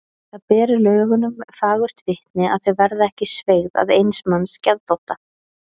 Það ber lögunum fagurt vitni að þau verða ekki sveigð að eins manns geðþótta.